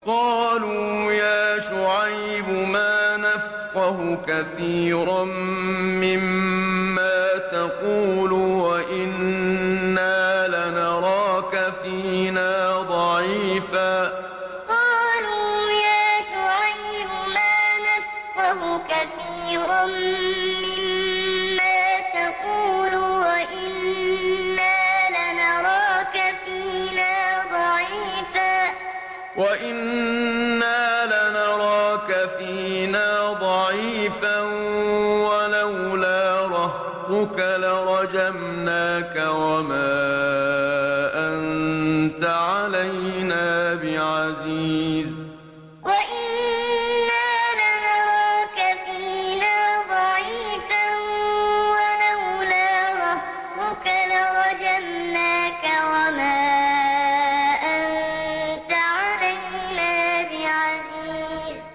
قَالُوا يَا شُعَيْبُ مَا نَفْقَهُ كَثِيرًا مِّمَّا تَقُولُ وَإِنَّا لَنَرَاكَ فِينَا ضَعِيفًا ۖ وَلَوْلَا رَهْطُكَ لَرَجَمْنَاكَ ۖ وَمَا أَنتَ عَلَيْنَا بِعَزِيزٍ قَالُوا يَا شُعَيْبُ مَا نَفْقَهُ كَثِيرًا مِّمَّا تَقُولُ وَإِنَّا لَنَرَاكَ فِينَا ضَعِيفًا ۖ وَلَوْلَا رَهْطُكَ لَرَجَمْنَاكَ ۖ وَمَا أَنتَ عَلَيْنَا بِعَزِيزٍ